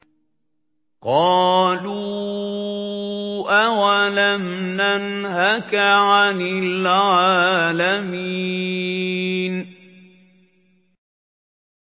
قَالُوا أَوَلَمْ نَنْهَكَ عَنِ الْعَالَمِينَ